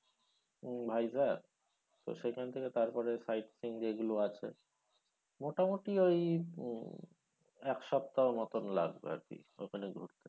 উম ভাইজ্যাক তো সেখান থেকে তারপরে side scene যেইগুলো আছে মোটামটি ওই উম এক সপ্তাহর মতন লাগবে আরকি ওখানে ঘুরতে,